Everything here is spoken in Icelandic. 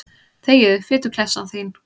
Þegiðu, fituklessan þín.